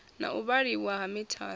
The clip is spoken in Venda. na u vhaliwa ha mithara